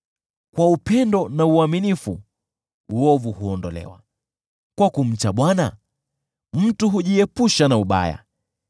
Kwa upendo na uaminifu uovu huondolewa; kwa kumcha Bwana mtu hujiepusha na ubaya.